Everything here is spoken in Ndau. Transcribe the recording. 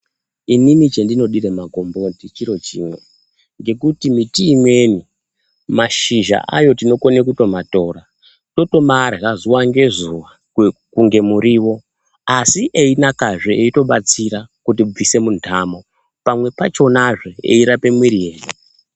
Inini chendinodire magomboti chiro chimwe, ngekuti miti imweni ,mashizha ayo tinokone kutomatora, totomarya zuwa ngezuwa kunge muriwo, asi einakazve eitobatsira kutibvise muntamo. Pamwe pachonazve, eirape mwiri yedu.